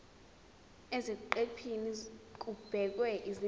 eziqephini kubhekwe izindaba